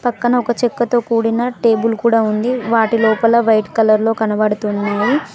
పక్కన ఒక చెక్కతో కూడిన టేబుల్ కూడా ఉంది వాటి లోపల వైట్ కలర్లో కనబడుతున్నాయి.